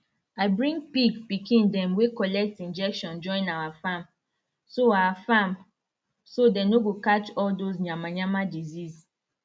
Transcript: i bring pig pikin dem wey collect injection join our farm so our farm so dey no go catch all dos yamayama disease